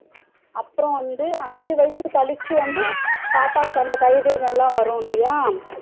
அப்பறம் வந்து அஞ்சி வயசு கழிச்சு வந்து பாப்பாக்கு அந்த கைரேகைல வரும் இல்லையா